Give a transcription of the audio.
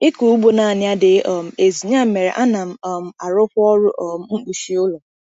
Ịkụ ugbo naanị adịghị um ezu, ya mere, ana um m arụkwa ọrụ um mkpuchi ụlọ.